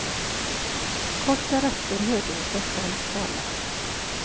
Kort därefter hörde hon sig själv tala.